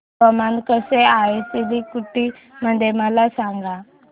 हवामान कसे आहे सिलीगुडी मध्ये मला सांगा